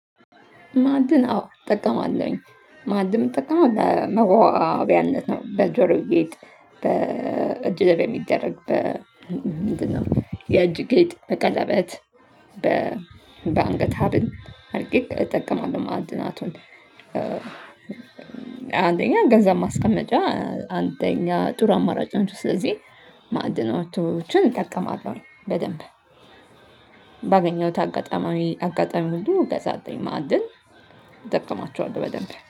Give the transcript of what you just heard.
ማዕድን አዎ እጠቀማለሁኝ። ማዕድም ምጠቀመው ለመዋቢያነት ነው በጆሮ ጌጥ። በእጅ ላይ በሚደረግ በ ምንድነው የእጅ ጌጥ በቀለበት። በአንገት ሀብት አርጌ እጠቀማለሁ ማዕድናቱን። አንደኛ ገንዘብ ማስቀመጫ አንደኛ ጥሩ አማራጭ ነው። ስለዚህ ማዕድናቶችን እጠቀማለሁ በደንብ። ባገኘሁት አጋጣሚ አጋጣሚ ሁሉ ገዛለውኝ ማዕድን እጠቀማቸዋለው በደንብ